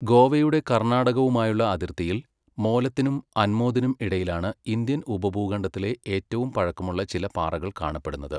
ഗോവയുടെ കർണാടകവുമായുള്ള അതിർത്തിയിൽ, മോലത്തിനും അൻമോദിനും ഇടയിലാണ് ഇന്ത്യൻ ഉപഭൂഖണ്ഡത്തിലെ ഏറ്റവും പഴക്കമുള്ള ചില പാറകൾ കാണപ്പെടുന്നത്.